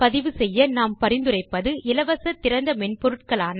பதிவு செய்ய நாம் பரிந்துரைப்பது இலவச திறந்த மென்பொருட்களான